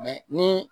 ni